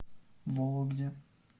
вологде